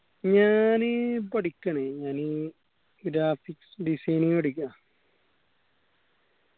ഞാന് പഠിക്കണ് ഞാന് graphics designing പഠിക്കാ